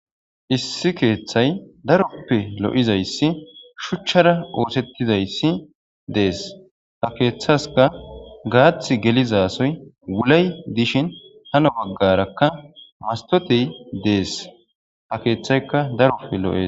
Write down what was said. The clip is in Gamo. issi keeththay daroppe lo7izayssi shuchchara oosettizayssi dees ta keeththaska gaath gelizasoy wulay dishin hano baggarakka mastote dees ha keeththayka daroppe lo7es